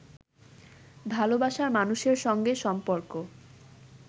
ভালোবাসার মানুষের সঙ্গে সম্পর্ক